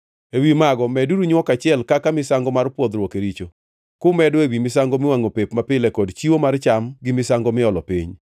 Ewi mago meduru nywok achiel kaka misango mar pwodhruok e richo, kumedo ewi misango miwangʼo pep mapile kod chiwo mar cham gi misango miolo piny.